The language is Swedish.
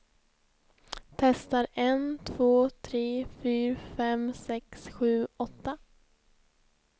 Testar en två tre fyra fem sex sju åtta.